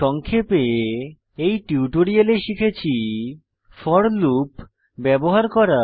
সংক্ষেপে এই টিউটোরিয়ালে শিখেছি ফোর লুপ ব্যবহার করা